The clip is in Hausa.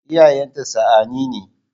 Iyayenta sa'anni ne.